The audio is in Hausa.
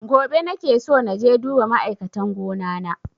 Gobe nake so naje duba ma'aikatan gona na